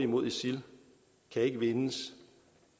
mod isil kan ikke vindes